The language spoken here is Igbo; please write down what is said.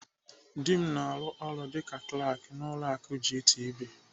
Dị m na-arụ ọrụ dịka Klak n'ụlọ akụ GTB.